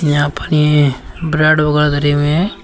यहां पानी है ब्रेड वगैरा हैं।